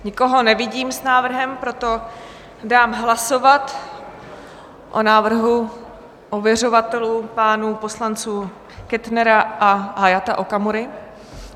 Nikoho nevidím s návrhem, proto dám hlasovat o návrhu ověřovatelů pánů poslanců Kettnera a Hayata Okamury.